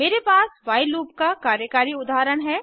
मेरे पास while loop का कार्यकारी उदाहरण है